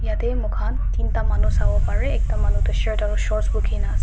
jatte mur khan tinta manu saibo pare ekta manu tu shirt aru short boots kina ase.